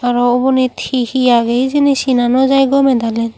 aro ubonit hee hee age hijeni sina no jaai gome dale.